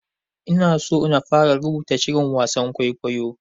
Ina so na fara rubuta shirin wasan kwaikwayo.